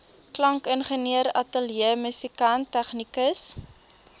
klankingenieur ateljeemusikant tegnikus